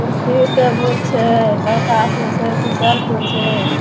कुर्सी टेबुल छै लड़का छै।